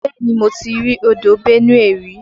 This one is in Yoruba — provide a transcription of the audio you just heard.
Bẹ́ẹ̀ni mo ti rí odò Benue rí.